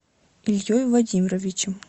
ильей владимировичем